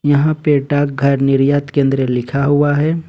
यहां पे डाक घर निर्यात केंद्र लिखा हुआ है।